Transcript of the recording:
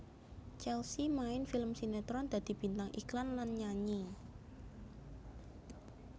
Chelsea main film sinetron dadi bintang iklan lan nyanyi